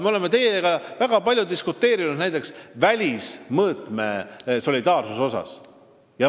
Me oleme teiega väga palju diskuteerinud näiteks välismõõtme solidaarsuse teemal.